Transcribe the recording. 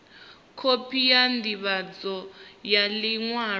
khophi ya ndivhadzo ya liṅwalo